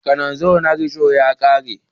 Kananzir na risho ya ka re.